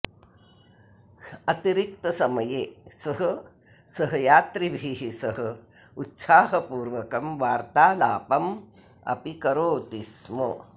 अतिरिक्तसमये सः सहयात्रिभिः सह उत्साहपूर्वकं वार्तालापम् अपि करोति स्म